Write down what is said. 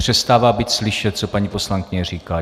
Přestává být slyšet, co paní poslankyně říká.